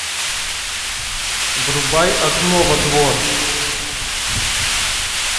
врубай окно во двор